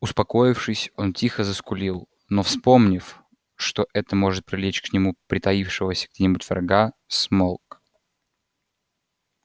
успокоившись он тихо заскулил но вспомнив что это может привлечь к нему притаившегося где-нибудь врага смолк